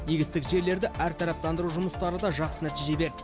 егістік жерлерді әртараптандыру жұмыстары да жақсы нәтиже берді